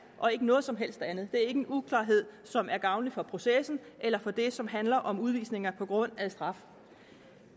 og ikke noget som helst andet er ikke en uklarhed som er gavnlig for processen eller for det som handler om udvisninger på grund af straf